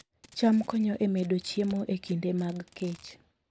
cham konyo e medo chiemo e kinde mag kech